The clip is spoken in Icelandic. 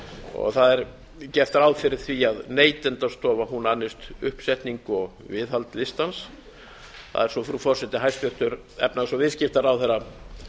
og gert er ráð fyrir því að neytendastofa annist uppsetningu og viðhald listans það er svo frú forseti hæstvirtur efnahags og viðskiptaráðherra